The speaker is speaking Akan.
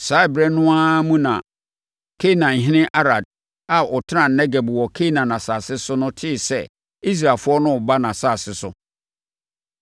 Saa ɛberɛ no ara mu na Kanaanhene Arad a ɔtenaa Negeb wɔ Kanaan asase so no tee sɛ Israelfoɔ no reba nʼasase so.